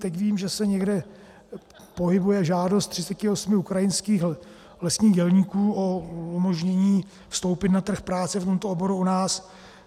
Teď vím, že se někde pohybuje žádost 38 ukrajinských lesních dělníků o umožnění vstoupit na trh práce v tomto oboru u nás.